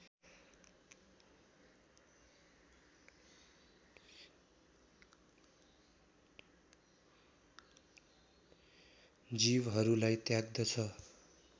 जीवहरूलाई त्याग्दछ